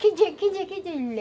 Que dia, que dia, que dia?